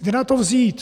Kde na to vzít?